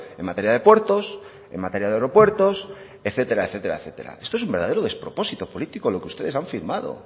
en materia de puertos en materia de aeropuertos etcétera etcétera etcétera esto es un verdadero despropósito político lo que ustedes han firmado